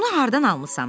Onu hardan almısan?